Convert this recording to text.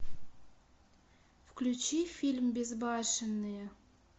включи фильм безбашенные